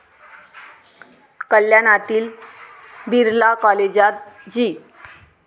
कल्याणातील बिर्ला कॉलेजात जी.